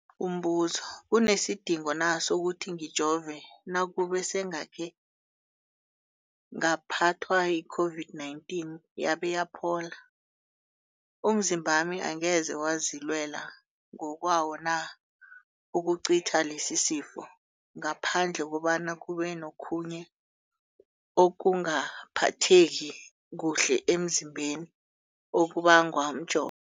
Umbuzo, kunesidingo na sokuthi ngijove nakube sengakhe ngaphathwa yi-COVID-19 yabe yaphola? Umzimbami angeze wazilwela ngokwawo na ukucitha lesisifo, ngaphandle kobana kube nokhunye ukungaphatheki kuhle emzimbeni okubangwa mjovo?